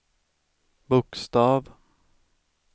bokstav